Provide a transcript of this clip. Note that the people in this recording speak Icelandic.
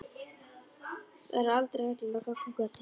Þar er aldrei hættulegt að ganga um götur.